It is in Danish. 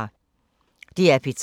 DR P3